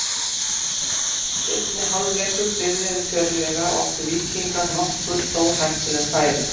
Seinni hálfleikur byrjaði fjörlega og áttu Víkingar nokkur stórhættuleg færi.